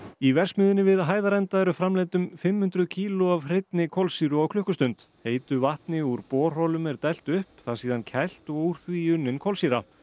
í verksmiðjunni við Hæðarenda eru framleidd um fimm hundruð kíló af hreinni kolsýru á klukkustund heitu vatni úr borholum er dælt upp það síðan kælt og úr því unnin kolsýra